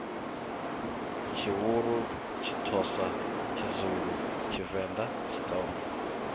tshivhuru tshithosa tshizulu tshivenda tshitsonga